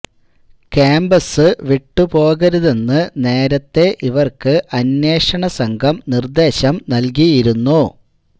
campus വിട്ടു പോകരുതെന്ന് നേരത്തെ ഇവര്ക്ക് അന്വേഷണം സംഘം നിര്ദേശം നല്കിയിരുന്നു